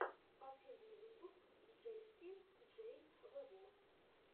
последний выпуск джесси джей вево